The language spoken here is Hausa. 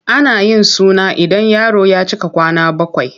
Ana yin suna ida yaro ya cika kwana bakwai.